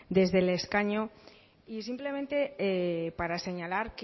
desde el escaño y simplemente para señalar